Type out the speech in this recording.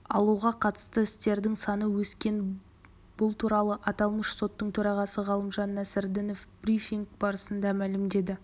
алуға қатысты істердің саны өскен бұл туралы аталмыш соттың төрағасы ғалымжан нәсірдінов брифинг барысында мәлімдеді